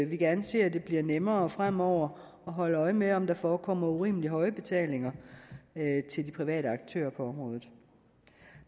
vi gerne ser at det bliver nemmere fremover at holde øje med om der forekommer urimelig høje betalinger til de private aktører på området